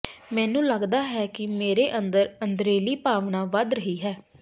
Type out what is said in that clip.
ਮੈਨੂੰ ਲੱਗਦਾ ਹੈ ਕਿ ਮੇਰੇ ਅੰਦਰ ਅੰਦਰਲੀ ਭਾਵਨਾ ਵਧ ਰਹੀ ਹੈ